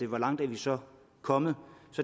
hvor langt vi så er kommet